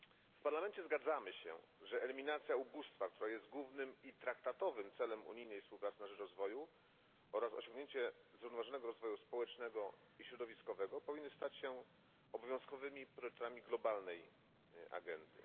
W Parlamencie zgadzamy się, że eliminacja ubóstwa, która jest głównym i traktatowym celem unijnej współpracy na rzecz rozwoju, oraz osiągnięcie zrównoważonego rozwoju społecznego i środowiskowego powinny stać się obowiązkowymi priorytetami globalnej agendy.